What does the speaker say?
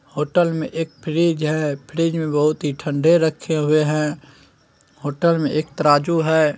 Hotel में एक fridge है फ्रिज में बहुत ही ठंडे रखे हुऐ हैं| होटल में एक तराजू है।